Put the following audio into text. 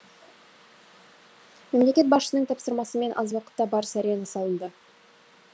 мемлекет басшысының тапсырмасымен аз уақытта барыс арена салынды